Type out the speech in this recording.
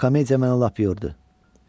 Bu komediya məni lap yordu.